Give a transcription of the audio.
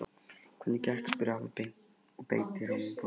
Hvernig gekk? spurði afi og beit í rjómabollu.